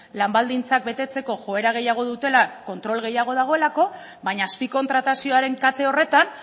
lan baldintzak betetzeko joera gehiago dutela kontrol gehiago dagoelako baina azpikontratazioaren kate horretan